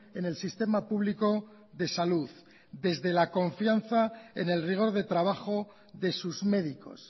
en el sistema público de salud desde la confianza en el rigor de trabajo de sus médicos